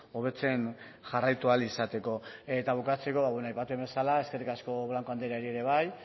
hobetzen jarraitu ahal izateko eta bukatzeko aipatu bezala eskerrik asko blanco andreari ere bai